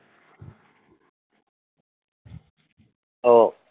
ও